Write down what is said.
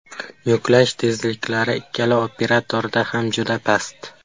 Yuklash tezliklari ikkala operatorda ham juda past.